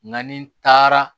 Nka ni taara